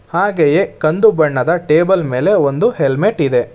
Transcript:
ಹಾಗೆಯೇ ಕಂದು ಬಣ್ಣದ ಟೇಬಲ್ ಮೇಲೆ ಒಂದು ಹೆಲ್ಮೆಟ್ ಇದೆ.